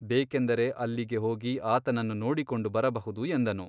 ಬೇಕೆಂದರೆ ಅಲ್ಲಿಗೆ ಹೋಗಿ ಆತನನ್ನು ನೋಡಿಕೊಂಡು ಬರಬಹುದು ಎಂದನು.